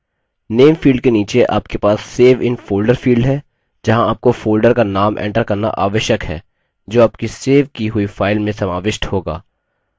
name field के नीचे आपके पास save in folder field है जहाँ आपको folder का name enter करना आवश्यक है जो आपकी सेव की हुई फाइल में समाविष्ट होगा